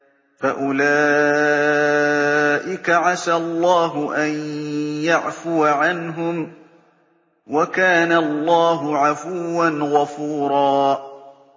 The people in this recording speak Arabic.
فَأُولَٰئِكَ عَسَى اللَّهُ أَن يَعْفُوَ عَنْهُمْ ۚ وَكَانَ اللَّهُ عَفُوًّا غَفُورًا